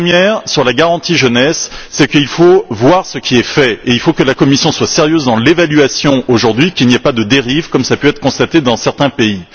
La première, sur la garantie jeunesse, c'est qu'il faut voir ce qui est fait et il faut que la Commission soit sérieuse dans l'évaluation, qu'il n'y ait pas de dérives, comme cela a pu être constaté dans certains pays.